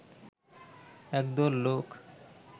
একদল লোক